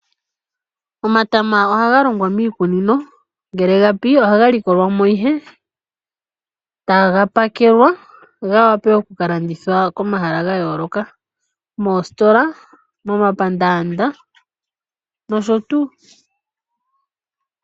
Omatama ohaga longwa miikunino, ngele ga pi ohaga likolwa mo ihe taga pakelwa ga wape oku ka landithwa komahala ga yooloka ngaashi moositola ,momapandaanda nosho tuu.